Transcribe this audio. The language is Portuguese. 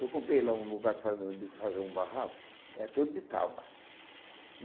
Eu comprei lá um lugar que faz um de fazer um barraco, é todo de tábua.